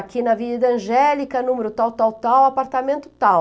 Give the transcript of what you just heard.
Aqui na Avenida Angélica, número tal, tal, tal, apartamento tal.